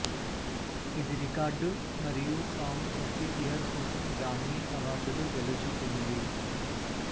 ఇది రికార్డు మరియు song of the year కోసం గ్రామీ అవార్డులు గెలుచుకుంది